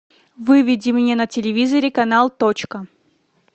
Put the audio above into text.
выведи мне на телевизоре канал точка